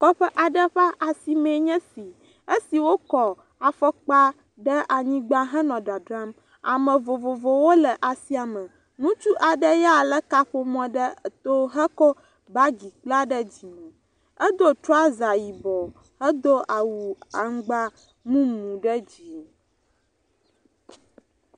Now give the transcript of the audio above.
Kɔƒe aɖe ƒe asimee nye esi, esi wokɔ afɔkpa ɖe anyigba henɔ dzadzram. Ame vovovowo le asia me, ŋutsu aɖe ya lé kaƒomɔ ɖe to hekɔ bagi kpla ɖe dzime. Edo trɔaza yibɔ hedo awu aŋgba mumu ɖe dzi.